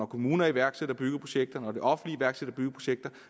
kommuner iværksætter byggeprojekter og det offentlige iværksætter byggeprojekter